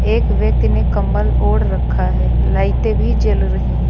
एक व्यक्ति ने कंबल ओढ़ रखा है लाइटें भी जल रही हैं।